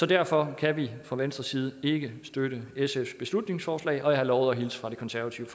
derfor kan vi fra venstres side ikke støtte sfs beslutningsforslag og jeg har lovet at hilse fra de konservative